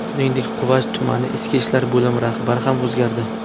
Shuningdek, Quva tumani Ichki ishlar bo‘limi rahbari ham o‘zgardi.